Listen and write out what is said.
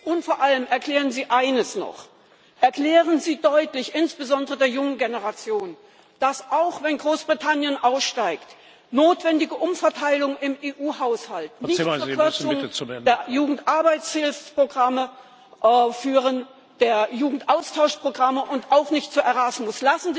Und vor allem erklären Sie eines noch Erklären Sie deutlich, insbesondere der jungen Generation, dass auch, wenn Großbritannien aussteigt, notwendige Umverteilungen im EU Haushalt nicht zur Verkürzung der Jugendarbeitshilfsprogramme führen, der Jugendaustauschprogramme und auch nicht von Erasmus.